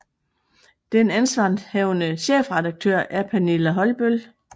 Den ansvarshavende chefredaktør er Pernille Holbøll